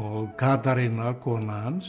og Katarína kona hans